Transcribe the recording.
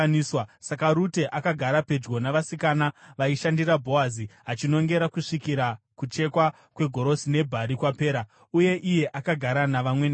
Saka Rute akagara pedyo navasikana vaishandira Bhoazi achinongera kusvikira kuchekwa kwegorosi nebhari kwapera. Uye iye akagara navamwene vake.